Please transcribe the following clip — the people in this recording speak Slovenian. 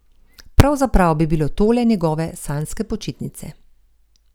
Pravzaprav bi bile tole njegove sanjske počitnice.